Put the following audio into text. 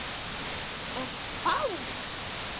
Og bát?